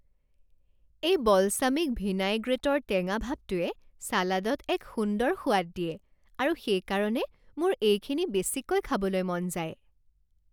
এই বলছামিক ভিনাইগ্ৰেটৰ টেঙা ভাৱটোৱে চালাডত এক সুন্দৰ সোৱাদ দিয়ে আৰু সেইকাৰণে মোৰ এইখিনি বেছিকৈ খাবলৈ মন যায়।